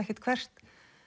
ekkert hvert